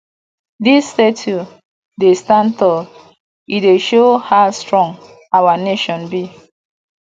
dis statue dey stand tall e dey show how strong our nation be